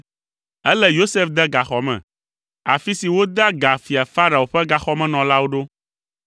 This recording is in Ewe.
Elé Yosef de gaxɔ me, afi si wodea ga fia Farao ƒe gaxɔmenɔlawo ɖo.